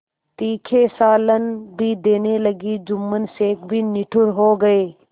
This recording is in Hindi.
तीखे सालन भी देने लगी जुम्मन शेख भी निठुर हो गये